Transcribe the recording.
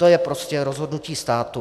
To je prostě rozhodnutí státu.